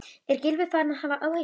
Er Gylfi farinn að hafa áhyggjur?